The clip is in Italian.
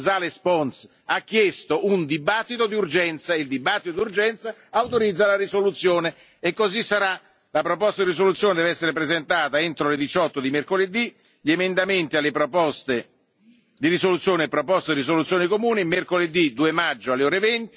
González Pons ha chiesto una discussione d'urgenza. La discussione d'urgenza autorizza la risoluzione, e così sarà. Le proposte di risoluzione devono essere presentate entro le 18.00 di mercoledì, gli emendamenti alle proposte di risoluzione e le proposte di risoluzione comune mercoledì 2 maggio alle